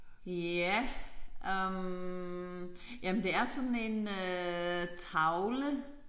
Ja øh jamen det er sådan en øh tavle